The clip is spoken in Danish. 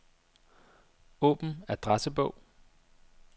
Åbn adressebog.